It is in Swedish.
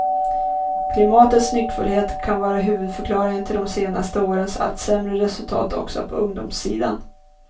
Klimatets nyckfullhet kan vara huvudförklaringen till de senaste årens allt sämre resultat också på ungdomssidan.